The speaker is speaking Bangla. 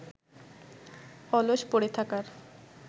অলস পড়ে থাকার